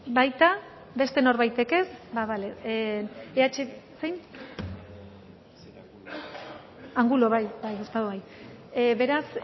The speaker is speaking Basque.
baita beste norbaitek ez beraz